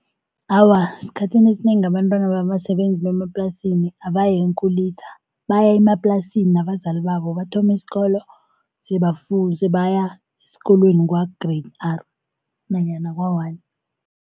Awa, esikhathini esinengi abantwana babasebenzi bemaplasini abayi eenkulisa baya emaplasini nabazali babo, bathoma isikolo sebafunda sebaya esikolweni kwa-Grade R nanyana kwa-one.